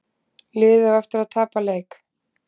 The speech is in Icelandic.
Liðið á eftir að tapa leik